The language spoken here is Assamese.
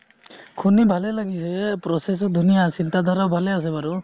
শুনি ভালে লাগিছে process টো ধুনীয়া আছিল চিন্তা ধাৰা ভালে আছে বাৰু